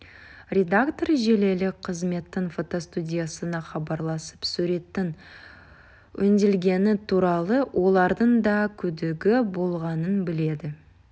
редактор желілік қызметтің фотостудиясына хабарласып суреттің өңделгені туралы олардың да күдігі болғанын біледі